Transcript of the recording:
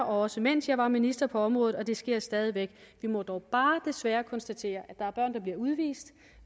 også mens jeg var minister på området og det sker stadig væk vi må dog bare desværre konstatere at der er børn der bliver udvist